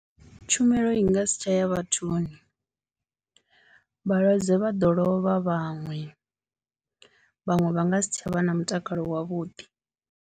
Tshumelo i nga si tsha ya vhathuni, vhalwadze vha ḓo lovha vhaṅwe, vhaṅwe vha nga si tsha vha na mutakalo wavhuḓi.